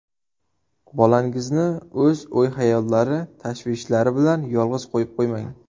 Bolangizni o‘z o‘y-xayollari, tashvishlari bilan yolg‘iz qo‘yib qo‘ymang.